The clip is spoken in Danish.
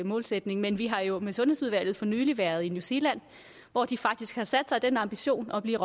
målsætning men vi har jo med sundhedsudvalget for nylig været i new zealand hvor de faktisk har den ambition at blive